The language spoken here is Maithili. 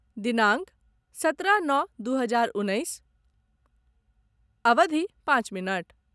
दिनांक सत्रह नओ दू हजार उन्नैस अवधि पाँच मिनट